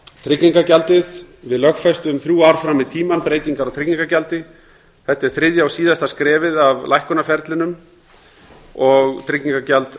tryggingagjaldið við lögfestum þrjú ár fram í tímann breytingar á tryggingagjaldi þetta er þriðja og síðasta skrefið af lækkunarferlinu og tryggingagjald